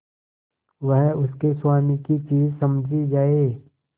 वह उसके स्वामी की चीज समझी जाए